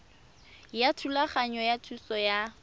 ya thulaganyo ya thuso ya